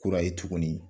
Kura ye tuguni